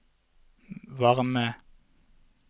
varme